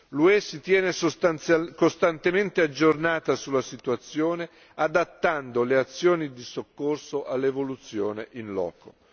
L'UE si tiene costantemente aggiornata sulla situazione, adattando le azioni di soccorso all'evoluzione in loco.